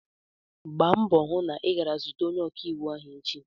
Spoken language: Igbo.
Gba mbọ hụ na ị gara zute onye ọkaiwu ahụ echi!